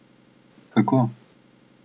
Kako?